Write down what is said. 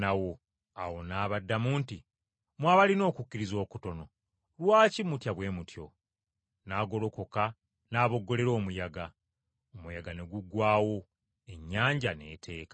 Yesu n’abaddamu nti, “Mmwe abalina okukkiriza okutono! Lwaki mutya bwe mutyo?” N’agolokoka n’aboggolera omuyaga. Omuyaga ne guggwaawo, ennyanja n’eteeka.